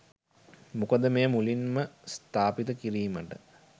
මොකද මෙය මුලින්ම ස්ථාපිත කිරීමට